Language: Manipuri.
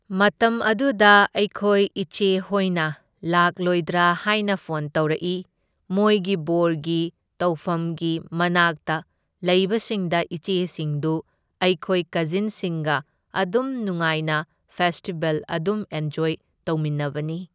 ꯃꯇꯝ ꯑꯗꯨꯗ ꯑꯩꯈꯣꯏ ꯏꯆꯦꯍꯣꯏꯅ ꯂꯥꯛꯂꯣꯏꯗ꯭ꯔꯥ ꯍꯥꯢꯅ ꯐꯣꯟ ꯇꯧꯔꯛꯢ, ꯃꯣꯏꯒꯤ ꯕꯣꯔꯒꯤ ꯇꯧꯐꯝꯒꯤ ꯃꯅꯥꯛꯇ ꯂꯩꯕꯁꯤꯡꯗ ꯏꯆꯦꯁꯤꯡꯗꯨ ꯑꯩꯈꯣꯏ ꯀꯖꯤꯟꯁꯤꯡꯒ ꯑꯗꯨꯝ ꯅꯨꯡꯉꯥꯏꯅ ꯐꯦꯁꯇꯤꯚꯦꯜ ꯑꯗꯨꯝ ꯑꯦꯟꯖꯣꯢ ꯇꯧꯃꯤꯟꯅꯕꯅꯤ꯫